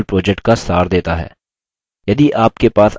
यह spoken tutorial project का सार देता है